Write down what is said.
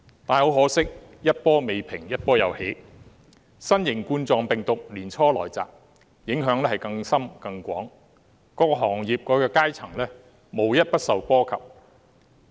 但很可惜，一波未平一波又起，新型冠狀病毒年初來襲，影響更深、更廣，各行業和階層無一不受波及。